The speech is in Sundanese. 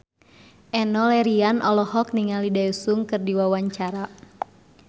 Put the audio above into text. Enno Lerian olohok ningali Daesung keur diwawancara